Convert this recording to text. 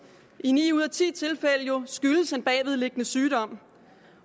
i ni ud af ti tilfælde skyldes en bagvedliggende sygdom